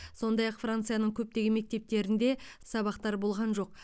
сондай ақ францияның көптеген мектептерінде сабақтар болған жоқ